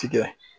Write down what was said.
Tigɛ